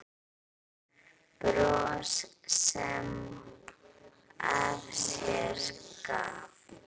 Bros sem af sér gaf.